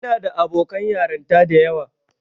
Ina da abokan yarinta da yawa.